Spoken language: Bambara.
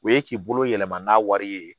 O ye k'i bolo yɛlɛma n'a wari ye